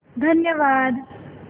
धन्यवाद